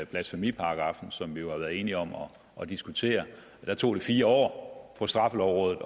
blasfemiparagraffen som vi jo har været enige om at diskutere tog det fire år for straffelovrådet